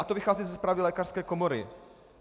A to vychází ze zprávy lékařské komory.